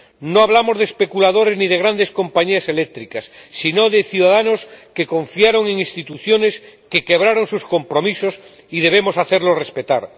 No hablamos de especuladores ni de grandes compañías eléctricas sino de ciudadanos que confiaron en instituciones que quebraron sus compromisos, y debemos hacerlos respetar.